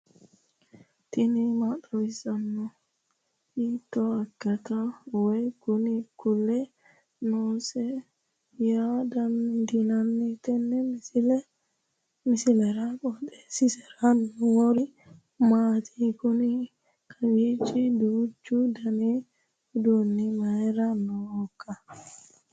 tini maa xawissanno ? hiitto akati woy kuuli noose yaa dandiinanni tenne misilera? qooxeessisera noori maati? kuni kowiicho duuchu dani uduunni mayra noohoikka